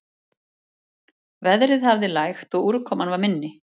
Veðrið hafði lægt og úrkoman var minni